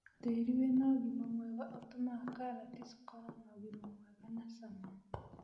Tĩri wĩnaũgima mwega ũtũmaga katati cikorwo na ũgima mwega na cama.